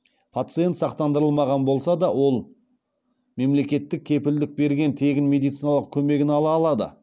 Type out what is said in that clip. пациент сақтандырылмаған болса да ол мемлекеттің кепілдік берген тегін медициналық көмегін ала алады